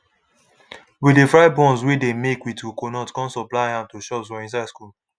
we de fry buns wey dey make with coconut come supply am to shops for inside schools